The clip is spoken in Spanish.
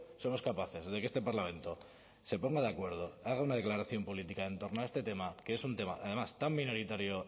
somos capaces de que este parlamento se ponga de acuerdo haga una declaración política en torno a este tema que es un tema además tan minoritario